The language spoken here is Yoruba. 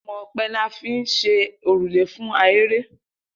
Imò̩ope̩ ni a fi ń s̩e òrùlé fún ahere